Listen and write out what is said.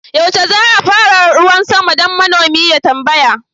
yaushe za a fara ruwan sama? dan manomi ya tambaya